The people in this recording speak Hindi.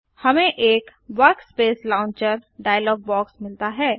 हमें एक वर्कस्पेस लॉन्चर डायलॉग बॉक्स मिलता हैं